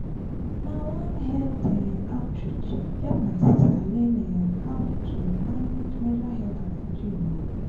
na one health um outreach help my sister learn um how to manage menstrual health and hygiene. um